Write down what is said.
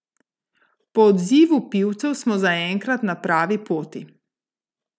Po odzivu pivcev smo zaenkrat na pravi poti.